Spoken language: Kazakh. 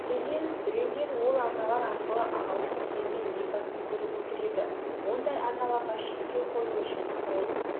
мәселен біреулер ол арналар арқылы ағылшын премьер-лигасын көріп отыр енді ондай арналарға шектеу қою үшін сол